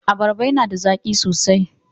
Abarrba yana da zaki sosai.